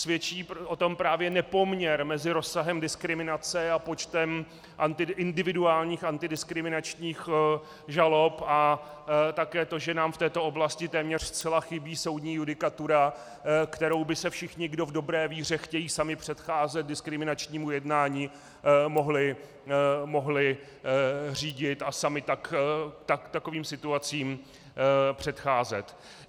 Svědčí o tom právě nepoměr mezi rozsahem diskriminace a počtem individuálních antidiskriminačních žalob a také to, že nám v této oblasti téměř zcela chybí soudní judikatura, kterou by se všichni, kdo v dobré víře chtějí sami předcházet diskriminačnímu jednání, mohli řídit a sami takovým situacím předcházet.